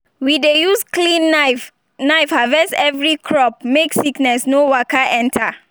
we dey use clean knife knife harvest every crop make sickness no waka enter.